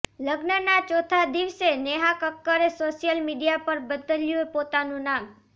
લગ્નના ચોથા દિવસે નેહા કક્કરે સોશિયલ મીડિયા પર બદલ્યું પોતાનું નામ